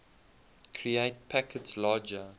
create packets larger